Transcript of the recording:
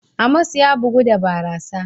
Amos ya bugu da barasa.